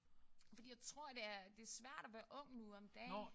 Fordi jeg tror det er det er svært at være ung nu om dage